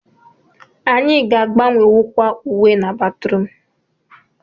Anyị ga agbanwewukwa uwe na batrum